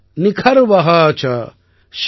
லக்ஷம் ச நியுதம் சைவ கோடி அர்புதம் ஏக ச